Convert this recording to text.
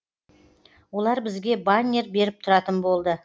олар бізге баннер беріп тұратын болды